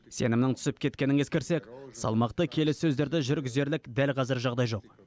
сенімнің түсіп кеткенін ескерсек салмақты келіссөздерді жүргізерлік дәл қазір жағдай жоқ